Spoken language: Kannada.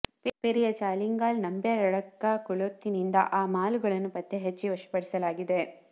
ಪೆರಿಯ ಚಾಲಿಂಗಾಲ್ ನಂಬ್ಯಾ ರಡ್ಕ ಕೋಳೋತ್ತಿನಿಂದ ಆ ಮಾಲು ಗಳನ್ನು ಪತ್ತೆಹಚ್ಚಿ ವಶಪಡಿಸಲಾಗಿದೆ